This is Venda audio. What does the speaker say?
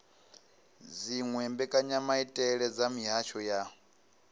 dziwe mbekanyamaitele dza mihasho ya